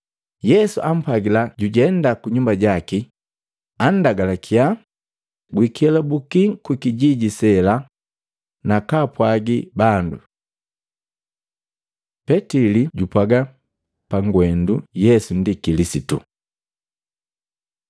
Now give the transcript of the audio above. Yesu ampwagila jujenda kunyumba jaki anndagalakya, “Gwikelabuki kukijiji sela nakaapwagi bandu.” Petili jupwaga pagwendu Yesu ndi Kilisitu Matei 16:13-20; Luka 9:18-21